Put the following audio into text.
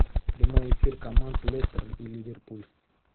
прямой эфир команд лестер и ливерпуль